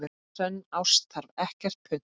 Sönn ást þarf ekkert punt.